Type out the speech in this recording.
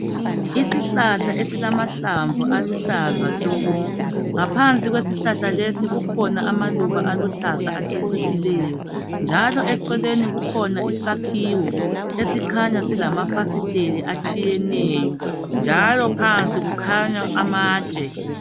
Isihlahla esilamahlamvu aluhlaza tshoko ngaphansi kwesihlahla lesi kukhona amaluba aluhlaza acecisileyo njalo eceleni kukhona isakhiwo esikhanya silamafasiteli atshiyeneyo njalo phansi kukhanya amatshe.